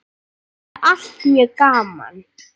Þetta er allt mjög gaman.